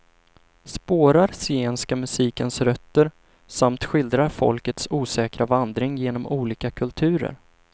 Spårar zigenska musikens rötter samt skildrar folkets osäkra vandring genom olika kulturer.